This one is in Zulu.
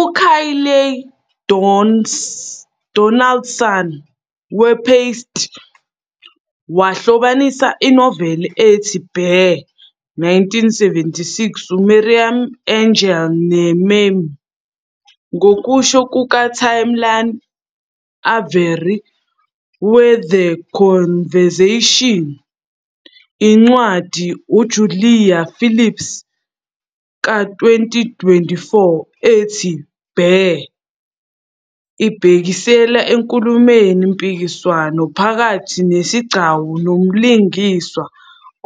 UKayleigh Donaldson we-"Paste" wahlobanisa inoveli ethi "Bear", 1976, UMarian Engel ne-meme. Ngokusho kukaTamlyn Avery we-"The Conversation", incwadi UJulia Phillips ka-2024 ethi "Bear" ibhekisela enkulumweni-mpikiswano phakathi nesigcawu nomlingiswa